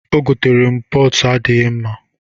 O goteere m pọtụ n'adịghị mma.